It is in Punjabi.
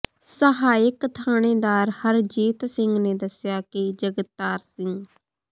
ਸਹਾਇਕ ਥਾਣੇਦਾਰ ਹਰਜੀਤ ਸਿੰਘ ਨੇ ਦੱਸਿਆ ਕਿ ਜਗਤਾਰ ਸਿੰਘ